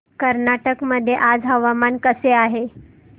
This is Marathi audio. कर्नाटक मध्ये आज हवामान कसे आहे